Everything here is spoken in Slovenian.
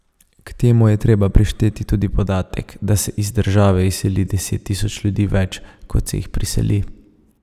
K temu je treba prišteti tudi podatek, da se iz države izseli deset tisoč ljudi več, kot se jih priseli.